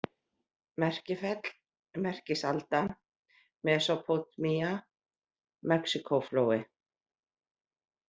Merkifell, Merkisalda, Mesópótamía, Mexíkóflói